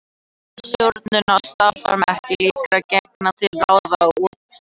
Mismunandi stjórnun á starfsemi líkra gena gæti ráðið úrslitum.